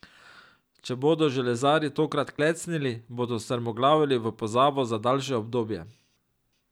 Če bodo železarji tokrat klecnili, bodo strmoglavili v pozabo za daljše obdobje.